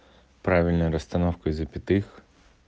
правильной расстановкой запятых